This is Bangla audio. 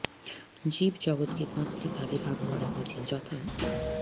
জীব জগতকে পাঁচটি ভাগে ভাগ করা হয়েছে যথাঃ